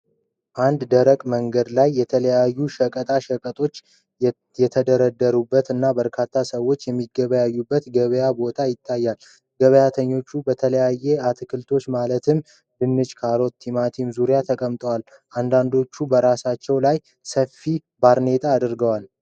አንድ ደረቅ መንገድ ላይ የተለያዩ ሸቀጣ ሸቀጦች የተደራረቡበት እና በርካታ ሰዎች የሚገበያዩበት የገበያ ቦታ ይታያል። ገበያተኞቹ በተለያዩ አትክልቶች ማለትም ድንች፣ ካሮት እና ቲማቲም ዙሪያ ተቀምጠዋል፣ አንዳንዶቹም በራሳቸው ላይ ሰፋፊ ባርኔጣ አድርገዋል።